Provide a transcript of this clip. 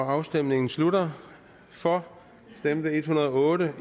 afstemningen slutter for stemte en hundrede og